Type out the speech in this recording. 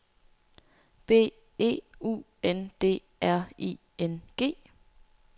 B E U N D R I N G